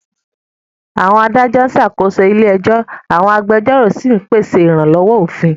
Àwọn adájọ́ ń ṣàkóso ilé ẹjọ́, àwọn agbẹjọ́rò sì ń pèsè ìrànlọ́wọ́ òfin.